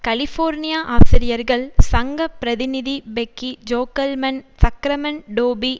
California ஆசிரியர்கள் சங்க பிரதிநிதி பெக்கி ஜோகல்மன் சக்ரமன்டோபி